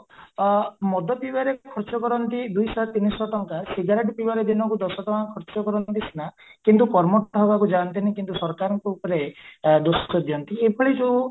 ଆ ମଦ ପିବାରେ ଖର୍ଚ କରନ୍ତି ଦୁଇଶହ ତିନିଶହ ଟଙ୍କା ସିଗାରଟେ ପିଇବାରେ ଦିନକୁ ଦଶ ଟଙ୍କା ଖର୍ଚ କରନ୍ତି ସିନା କିନ୍ତୁ ହବାକୁ ଯାନ୍ତିନି କିନ୍ତୁ ସରକାରଙ୍କ ଉପରେ ଦିଅନ୍ତି ଏଭଳି ଯୋଊ